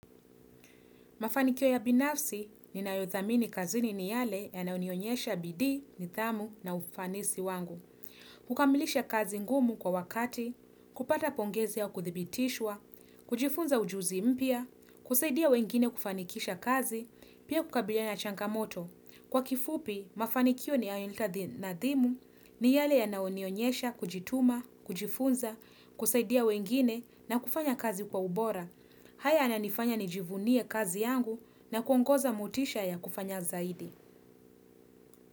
Mafanikio ya binafsi ninayothamini kazini ni yale yanayonionyesha bidii, nidhamu na ufanisi wangu. Kukamilisha kazi ngumu kwa wakati, kupata pongezi ya kuthibitishwa, kujifunza ujuzi mpya, kusaidia wengine kufanikisha kazi, pia kukabiliana na changamoto. Kwa kifupi, mafanikio ninayohitaji nadhimu ni yale yanayonionyesha kujituma, kujifunza, kusaidia wengine na kufanya kazi kwa ubora. Haya yananifanya nijivunie kazi yangu na kuongeza motisha ya kufanya zaidi.